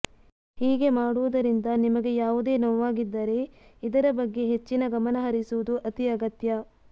ಹೀಗೆ ಮಾಡುವುದರಿಂದ ನಿಮಗೆ ಯಾವುದೇ ನೋವಾಗಿದ್ದರೆ ಇದರ ಬಗ್ಗೆ ಹೆಚ್ಚಿನ ಗಮನಹರಿಸುವುದು ಅತೀ ಅಗತ್ಯ